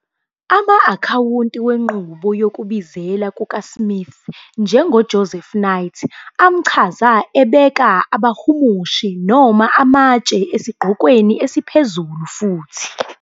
Ama-Akhawunti wenqubo yokubizela kukaSmith, njengoJoseph Knight, amchaza ebeka abahumushi noma amatshe esigqokweni esiphezulu futhi,